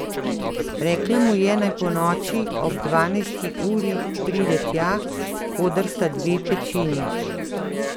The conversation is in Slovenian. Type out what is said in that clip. Rekla mu je, naj ponoči ob dvanajsti uri pride tja, koder sta dve pečini.